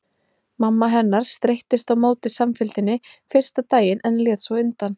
Mamma hennar streittist á móti samfylgdinni fyrsta daginn en lét svo undan.